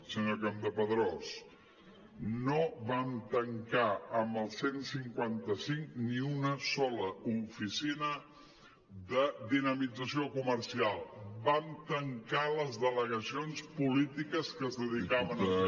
senyor campdepadrós no vam tan·car amb el cent i cinquanta cinc ni una sola oficina de dinamització comercial vam tancar les delega·cions polítiques que es dedicaven a fer